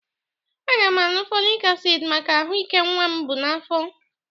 Aga m aga aṅụ fọlik asịd maka ahụ ike nnwa m bụ n'afọ.